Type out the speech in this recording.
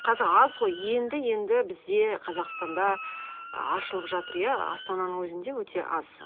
қазір аз ғой енді енді бізде қазақстанда ы ашылып жатыр иә астананың өзінде өте аз